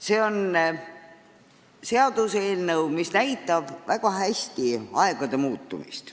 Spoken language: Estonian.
See on seaduseelnõu, mis peegeldab väga hästi aegade muutumist.